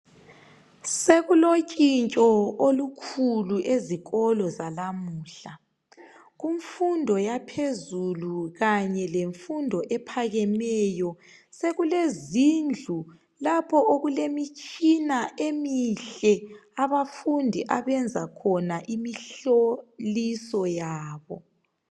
Sekulotshintsho olukhulu ezikolo zanamuhla kumfundo yaphezulu kanye lemfundo ephakemeyo sokulezindlu lapho okulemitshina emihle abafundi abenza khona imihloliso yabo.